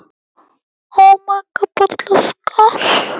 Elstu hlutar hennar eru um